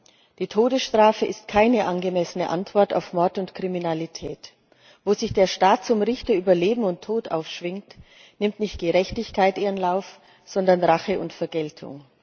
Herr Präsident! Die Todesstrafe ist keine angemessene Antwort auf Mord und Kriminalität. Wo sich der Staat zum Richter über Leben und Tod aufschwingt, nimmt nicht Gerechtigkeit ihren Lauf, sondern Rache und Vergeltung.